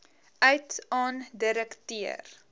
uit aan direkteur